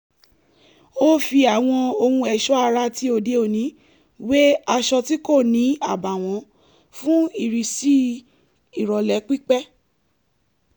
ó fi àwọn ohun ẹ̀ṣọ́ ara ti òde òní wé aṣọ tí kò ní àbààwọ́n fún ìrísí ìrọ̀lẹ́ pípé